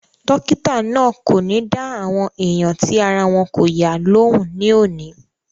Dọ́kítà náà kò ní dá àwọn èèyàn tí ara wọn kò yá lóhùn ní òní